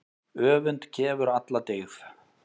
Öfund kefur alla dyggð.